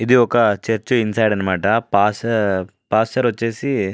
ఇది ఒక church inside అనమాట పాస్ట్ పాస్టర్ వచ్చేసి --